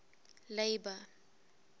labour